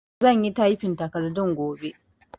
Zan yi tyfin takardun gobe